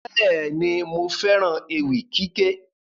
Bẹ́ẹ̀ni, mo fẹ́ràn ewì kíké